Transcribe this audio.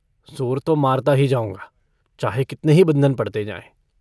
ज़ोर तो मारता ही जाऊँगा, चाहे कितने ही बंधन पड़ते जाएँ।